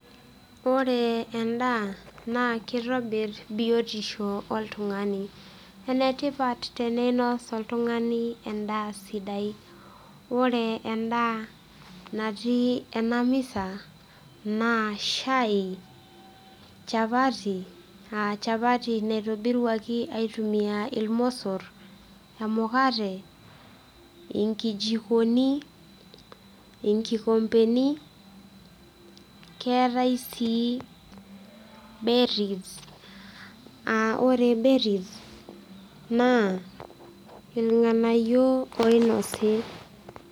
ore ena naa kitobir biotisho oltung'ani. ene tipat teneinos oltung'ani daa sidai. ore edaa natii ena misa, naa shai, chapati aa chapati naitobiruaki aitumia ilmosor, emukate, inkijikoni, inkikompeni, keetae sii berries ore berries naa ilng'anyio oinosi.